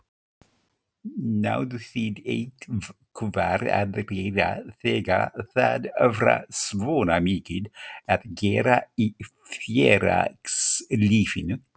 Náðu þið eitthvað að læra þegar það var svona mikið að gera í félagslífinu?